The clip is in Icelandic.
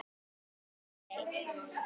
En hver veit?